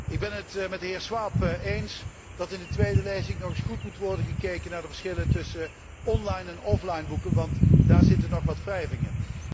Ik ben het met de heer Schwab eens dat in de tweede lezing nog eens goed moet worden gekeken naar de verschillen tussen online en offline boeken, want daar zitten nog wat wrijvingen.